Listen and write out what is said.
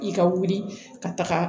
I ka wuli ka taga